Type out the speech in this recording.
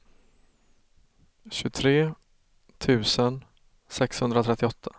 tjugotre tusen sexhundratrettioåtta